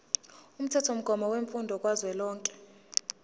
umthethomgomo wemfundo kazwelonke